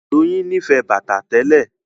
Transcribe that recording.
Doyin nífẹ̀ẹ́ bàtà tẹ́lẹ̀